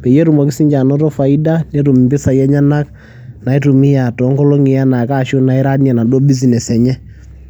peyie etumoki siinye anoto faida, netum impisai enyenak naitumia too nkolong'i enaa ake ashu nairunie enaduo business enye.